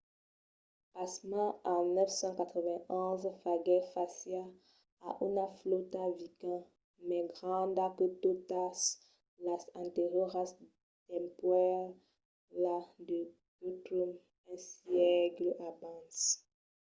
pasmens en 991 faguèt fàcia a una flòta viking mai granda que totas las anterioras dempuèi la de guthrum un sègle abans